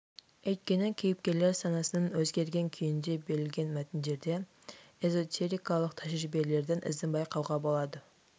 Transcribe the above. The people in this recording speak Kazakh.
өйткені кейіпкерлер санасының өзгерген күйінде берілген мәтіндерде эзотерикалық тәжірибелердің ізін байқауға болады